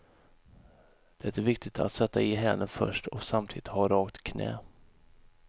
Det är viktigt att sätta i hälen först och samtidigt ha rakt knä.